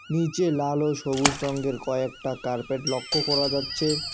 নীচে লাল ও সবুজ রঙ্গের কয়েকটা কার্পেট লক্ষ্য করা যাচ্ছে।